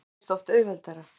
Það reynist oft auðveldara.